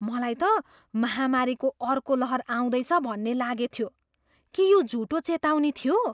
मलाई त महामारीको अर्को लहर आउँदैछ भन्ने लागेथ्यो। के यो झुटो चेतावनी थियो?